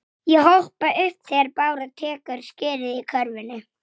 Vígsla hans verður falleg.